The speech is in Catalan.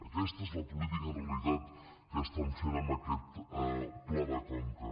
aquesta és la política en realitat que estan fent amb aquest pla de conca